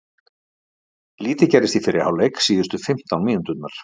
Lítið gerðist í fyrri hálfleik síðustu fimmtán mínúturnar.